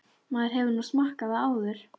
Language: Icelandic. Maður hefur nú smakkað það áður.